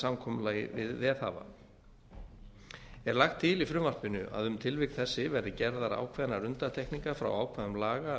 samkomulagi við veðhafa er lagt til í frumvarpinu að um þessi tilvik verði gerðar ákveðnar undantekningar frá ákvæðum laga